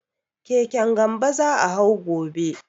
Keken Gambo za a hau gobe.